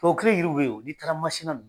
Tuwawu kelen-kelenw be ye o, n'i taara Masina